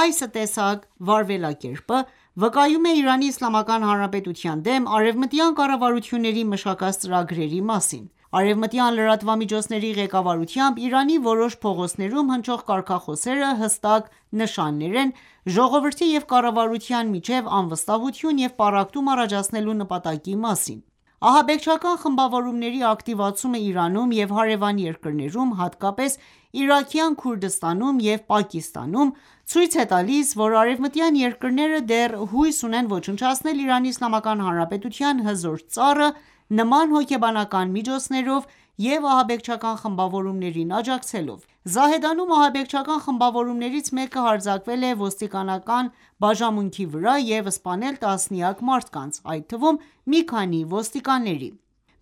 այս տեսակ վարվելակերպը, վկայում է Իրանի Իսլամական Հանրապետության դեմ արևմտյան կառավարությունների մշակած ծրագրերի մասին: Արևմտյան լրատվամիջոցների ղեկավարությամբ Իրանի որոշ փողոցներում հնչող կարգախոսները հստակ նշաններն են ժողովրդի և կառավարության միջև անվստահություն և պառակտում առաջացնելու նպատակի մասին: Ահաբեկչական խմբավորումների ակտիվացումը Իրանում և հարևան երկրներում, հատկապես Իրաքյան Քրդստանում և Պակիստանում, ցույց է տալիս, որ արևմտյան երկրները դեռ հույս ունեն ոչնչացնել Իրանի Իսլամական Հանրապետության հզոր ծառը՝ նման հոգեբանական միջոցներով և ահաբեկչական խմբավորումներին աջակցելով։ Զահեդանում ահաբեկչական խմբավորումներից մեկը հարձակվել է ոստիկանական բաժանմունքի վրա և սպանել տասնյակ մարդկանց, այդ թվում՝ մի քանի ոստիկանների։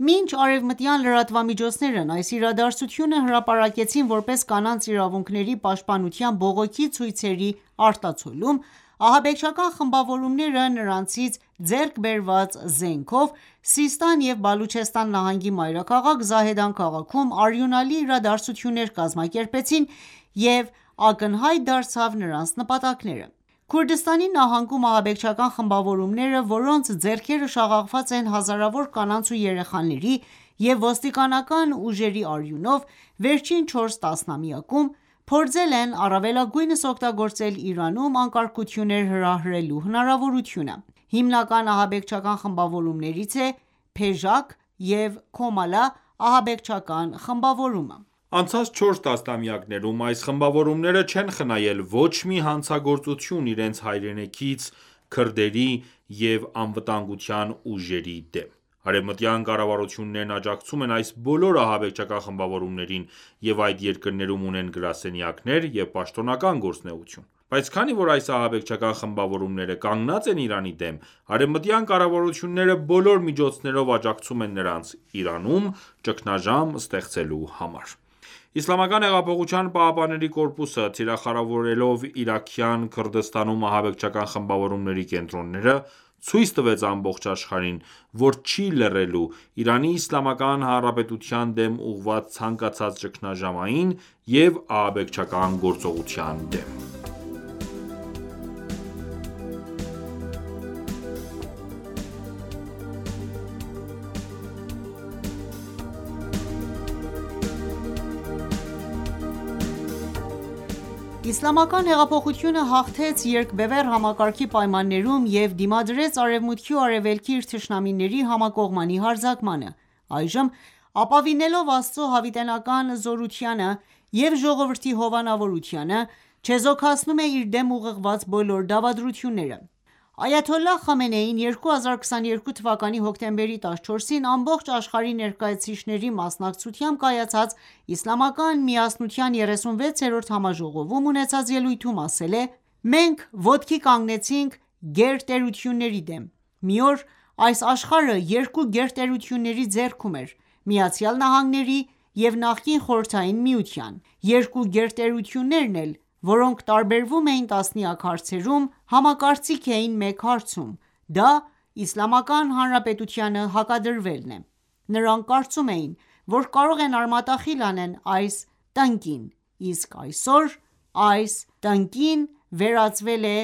Մինչ արևմտյան լրատվամիջոցներն այս իրադարձությունը հրապարակեցին որպես կանանց իրավունքների պաշտպանության բողոքի ցույցերի արտացոլում, ահաբեկչական խմբավորումները նրանցից ձեռք բերված զենքերով Սիստան և Բելուջիստան նահանգի մայրաքաղաք Զահեդան քաղաքի արյունալի իրադարձությունները կազմաքերպեցին և ակնհայտ դարձավ նրանց նպատակները: Քուրդիստանի նահանգում ահաբեկչական խմբավորումները, որոնց ձեռքերը շաղաղված են հազարավոր կանանց ու երեխաների և ոստիկանական ուժերի արյունով, վերջին չորս տասնամյակում, փորձել են առավելագույնս օգտագործել Իրանում անկարգություններ հրահրելու հնարավորությունը։ Հիմնական ահաբեկչական խմբավորումներից է «Փեժակ» և «Քոմալա» ահաբեկչական խմբավորումը։ Անցած չորս տասնամյակներում այս խմբավորումները չեն խնայել ոչ մի հանցագործություն իրենց հայրենակից քրդերի և անվտանգության ուժերի դեմ։ Արևմտյան կառավարություններն աջակցում են այս բոլոր ահաբեկչական խմբավորումներին և այդ երկրներում ունեն գրասենյակներ և պաշտոնական գործունեություն: Բայց քանի որ այս ահաբեկչական խմբավորումները կանգնած են Իրանի դեմ, արևմտյան կառավարություններն բոլոր միջոցներով աջակցում են նրանց՝ Իրանում ճգնաժամ ստեղծելու համար: Իսլամական հեղափոխության պահապանների կորպուսը, թիրախավորելով Իրաքյան Քրդստանում ահաբեկչական խմբավորումների կենտրոնները, ցույց տվեց ամբողջ աշխարհին, որ չի լռելու Իրանի Իսլամական Հանրապետության դեմ ուղղված ցանկացած ճգնաժամային և ահաբեկչական գործողության դեմ։ Իսլամական հեղափոխությունը հաղթեց երկբևեռ համակարգի պայմաններում և դիմադրեց Արևմուտքի ու Արևելքի իր թշնամիների համակողմանի հարձակմանը: Այժմ, ապավինելով Աստծո հավիտենական զորությանը և ժողովրդի հովանավորությանը, չեզոքացնում է իր դեմ ուղղված բոլոր դավադրությունները: Այաթոլլահ Խամենեին 2022 թ. հոկտեմբերի 14-ին ամբողջ աշխարհի ներկայացուցիչների մասնակցությամբ կայացած Իսլամական միասնության 36-րդ համաժողովում ունեցած ելույթում ասել է. «Մենք ոտքի կանգնեցինք գերտերությունների դեմ։ Մի օր այս աշխարհը երկու գերտերությունների ձեռքում էր՝ Միացյալ Նահանգների և նախկին Խորհրդային Միության: Երկու գերտերություններն էլ, որոնք տարբերվում էին տասնյակ հարցերում, համակարծիք էին մեկ հարցում, դա Իսլամական Հանրապետությանը հակադրվելն է։ Նրանք կարծում էին, որ կարող են արմատախիլ անել այս տնկին։ Իսկ այսօր այս տնկին վերածվել է